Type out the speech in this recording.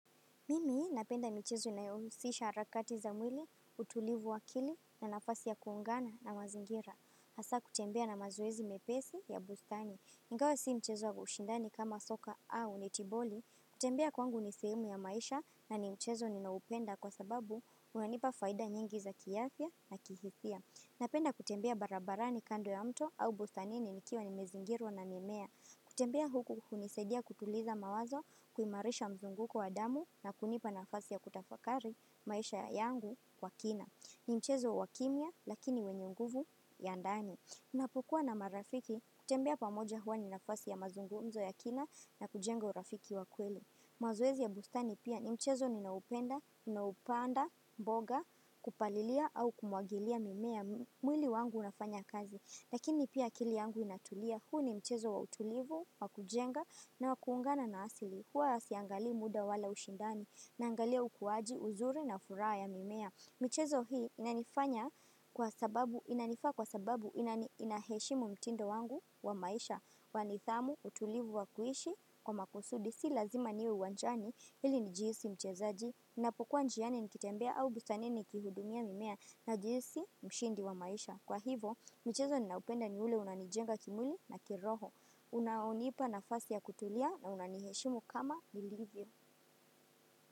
Mimi napenda mchezo inayohusisha harakati za mwili, utulivu wa akili, na nafasi ya kuungana na mazingira. Hasa kutembea na mazoezi mepesi ya bustani. Ingawa si mchezo wa ushindani kama soka au netiboli. Kutembea kwangu ni sehemu ya maisha na ni mchezo ninaupenda kwa sababu unanipa faida nyingi za kiafya na kihisia. Napenda kutembea barabarani kando ya mto au bustani nikiwa nimezingirwa na mimea. Kutembea huku hunisaidia kutuliza mawazo kuimarisha mzunguko wa damu na kunipa nafasi ya kutafakari maisha yangu kwa kina. Ni mchezo wa kimya lakini wenye nguvu ya ndani. Ninapo kuwa na marafiki kutembea pamoja huwa ni nafasi ya mazungumzo ya kina na kujenga urafiki wa kweli. Mazoezi ya bustani pia ni mchezo ninaupenda, naupanda, mboga, kupalilia au kumwagilia mimea mwili wangu unafanya kazi. Lakini pia akili yangu inatulia, huu ni mchezo wa utulivu, wa kujenga na wa kuungana na asili. Huwa siangali muda wala ushindani, naangalia ukuwaji, uzuri na furaha ya mimea. Michezo hii inanifanya kwa sababu, inanifaa kwa sababu, inani inaheshimu mtindo wangu wa maisha, wa nidhamu, utulivu, wa kuishi, kwa makusudi, si lazima niwe uwanjani, ili nijihisi mchezaji, ninapokuwa njiani nikitembea au bustanini nikihudumia mimea najihisi mshindi wa maisha. Kwa hivo, mchezo ninaupenda ni ule unanijenga kimwili na kiroho. Unaonipa nafasi ya kutulia na unaniheshimu kama nilivyo.